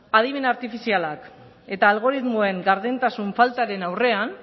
adimen artifizialak eta algoritmoen gardentasun faltaren aurrean